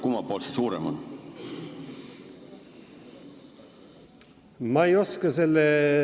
Kummalt poolt see suurem on?